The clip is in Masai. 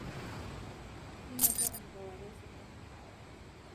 inoto enkewarie sidai